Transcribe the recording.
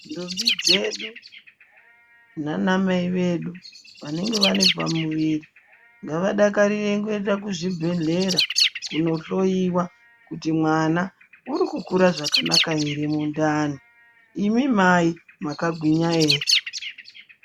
Ndombi dzedu nanamai vedu vanenge vane pamuviri ngavadakarire kuenda kuzvibhedhlera kunohloyiwa kuti mwana uri kukura zvakanaka ere mundani imimi mai mwakagwinya ere.